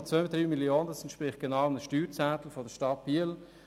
6,23 Mio. Franken entsprechen genau einem Steuerzehntel der Stadt Biel.